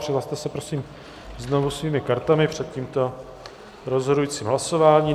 Přihlaste se prosím znovu svými kartami před tímto rozhodujícím hlasováním.